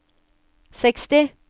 seksti